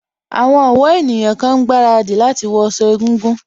Àwọn ọ̀wọ́ ènìyàn kan ń gbaradì láti wọ sọ egúngún